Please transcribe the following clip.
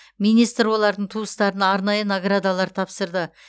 министр олардың туыстарына арнайы наградалар тапсырды